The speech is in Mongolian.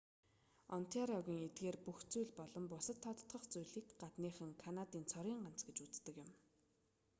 онтариогын эдгээр бүх зүйл болон бусад тодотгох зүйлийг гадныхан канадын цорын ганц гэж үздэг юм